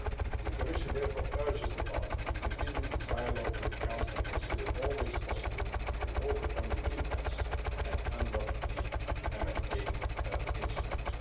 The Commission therefore urges Parliament to continue its dialogue with the Council and to consider all ways possible to overcome the impasse and unblock the MFA instrument.